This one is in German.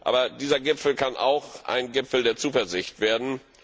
Aber dieser Gipfel kann auch ein Gipfel der Zuversicht werden.